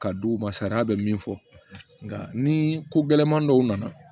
Ka d'u ma sariya bɛ min fɔ nka ni ko gɛlɛman dɔw nana